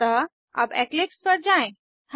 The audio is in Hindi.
अतः अब इक्लिप्स पर जाएँ